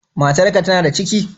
Matar ka tana da ciki?